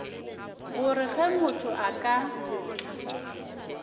gore ge motho a ka